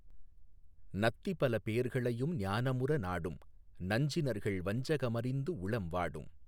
நத்திபல பேர்களையும் ஞானமுற நாடும் நஞ்சினர்கள் வஞ்சக மறிந்துஉளம் வாடும்